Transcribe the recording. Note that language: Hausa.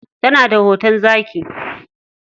Tana da hoton zaki.